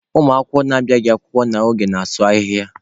Ụmụ akwụkwọ na-abịaghị akwụkwọ n'oge na-asụ ahịhịa.